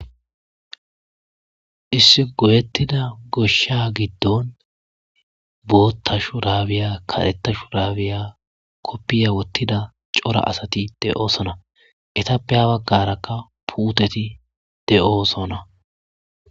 Issi goyeththida goshshaa giddon booththa shuraabiya kareththa shuraabiya koppiyiya woththida cora asathi de7oosona; ethappe ha baggarakka puuthethi de7oosona.